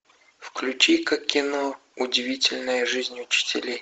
включи ка кино удивительная жизнь учителей